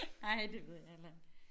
Nej det ved jeg heller ikke